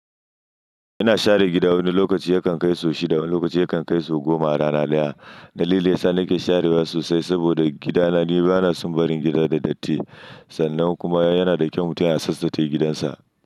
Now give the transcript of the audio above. Ina share gida wani lokaci yakan kai sau shida wani lokaci yakan kai sau goma a rana daya. Dalilin da yasa nake sharewa sosai saboda gidana ni bana son barin gida da datti sannan kuma yana da kyau mutum ya tsabtace gidansa.